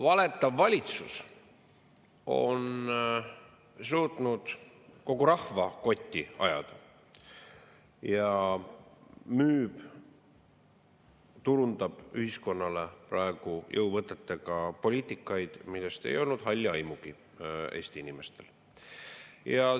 Valetav valitsus on suutnud kogu rahva kotti ajada ja müüb, turundab ühiskonnale praegu jõuvõtetega poliitikat, millest ei olnud Eesti inimestel halli aimugi.